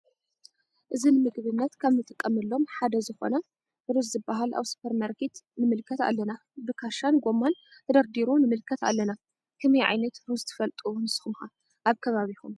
እዚ ንምግብነት እንጥቀመሎም ዝኮነ ሓደ ሩዝ ዝበሃለ አበ ስፖር ማረኬት ነምልከት ኣለና። ብክሻን ብጎማን ተደርዲሩ ነመልከት ኣለና። ከመይዓይነት ሩዝ ትፈልጡ ነሰኩም ከ አብ ከባቢኩም?